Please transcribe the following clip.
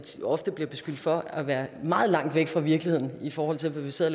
ofte bliver beskyldt for at være meget langt væk fra virkeligheden i forhold til hvad vi sidder